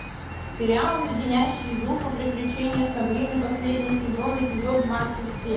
сериал леденящие душу приключения сабрины последний сезон эпизод двадцать семь